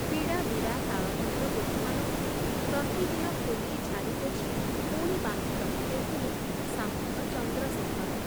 ବିଡ଼ା ବିଡ଼ା ତାଳପତ୍ର ପୋଥମାନଙ୍କୁ ପ୍ରତିଦିନ ଖୋଲି ଝାଡ଼ି ପୋଛି ପୁଣି ବାନ୍ଧି ରଖି ଦେଉଥିଲେ ସାମନ୍ତ ଚନ୍ଦ୍ରଶେଖର ।